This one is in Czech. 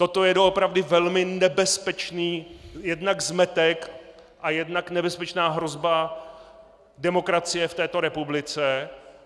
Toto je doopravdy velmi nebezpečný jednak zmetek a jednak nebezpečná hrozba demokracii v této republice.